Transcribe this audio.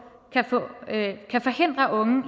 kan forhindre unge